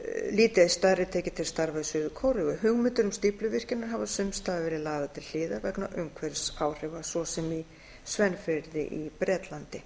lítið eitt stærri tekið til starfa í suður kóreu hugmyndir um stífluvirkjanir hafa sums staðar verið lagðar til hliðar vegna umhverfisáhrifa svo sem í severn firði á bretlandi